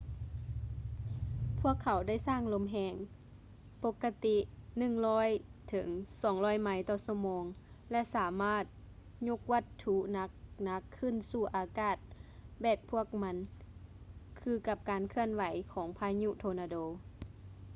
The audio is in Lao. ພວກເຂົາໄດ້ສ້າງລົມແຮງ ປົກກະຕິ 100-200ໄມລ໌/ຊົ່ວໂມງ ແລະ ສາມາດຍົກວັດຖຸໜັກໆຂຶ້ນສູ່ອາກາດແບກພວກມັນຄືກັບການເຄື່ອນທີ່ຂອງພາຍຸໂທນາໂດ